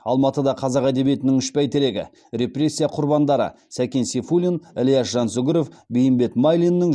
алматыда қазақ әдебиетінің үш бәйтерегі репрессия құрбандары сәкен сейфуллин ілияс жансүгіров бейімбет майлиннің